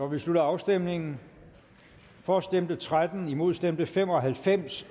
vi slutter afstemningen for stemte tretten imod stemte fem og halvfems